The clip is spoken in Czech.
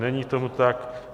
Není tomu tak.